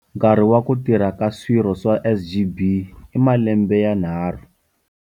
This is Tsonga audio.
Nkarhi wa ku tirha ka swirho swa SGB i malembe yanharhu.